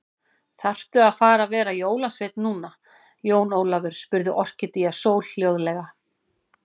Þaðrftu að fara að vera jólasveinn núna, Jón Ólafur, spurði Orkídea Sól hljóðlega.